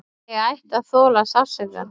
Ég ætti að þola sársaukann.